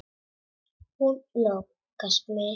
Hún nálgast mig.